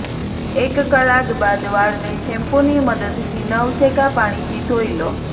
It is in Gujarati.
એક કલાક બાદ વાળને શેમ્પુની મદદથી નવશેકા પાણીથી ધોઇ લો